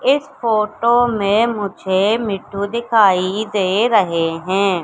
इस फोटो में मुझे मिट्ठू दिखाई दे रहे हैं।